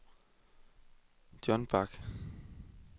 Jon Bach